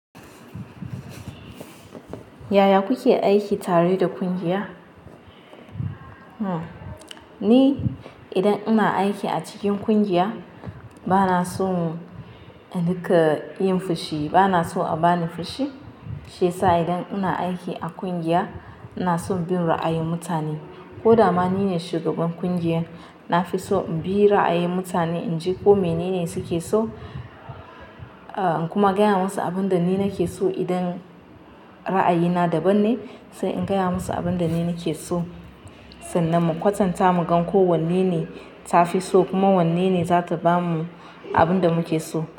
Yaya kuke aiki tare da ƙungiya? Ni idan ina aiki a cikin ƙungiya bana son a dinga yin fushi, bana so a bani fushi. Shiyasa idan ina aiki a ƙungiya ina son bin ra'ayin mutane. Ko dama nine shugaban ƙungiyar, na fi so in bi ra'ayin mutane in ji ko mene ne suke so. Inkuma gaya masu abinda nike so idan ra'ayina daban ne sai in gaya musu abin da ni ne ke so. Sannan mu kwatanta mu ga ko wanne ne ta fi so kuma wanne ne za ta ba mu abin da muke so.